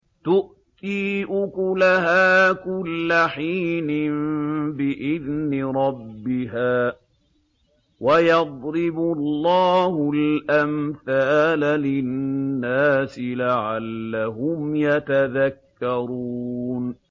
تُؤْتِي أُكُلَهَا كُلَّ حِينٍ بِإِذْنِ رَبِّهَا ۗ وَيَضْرِبُ اللَّهُ الْأَمْثَالَ لِلنَّاسِ لَعَلَّهُمْ يَتَذَكَّرُونَ